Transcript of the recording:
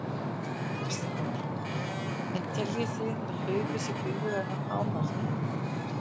Kristján Már: En teljið þið að hlaupið sé búið að ná hámarki?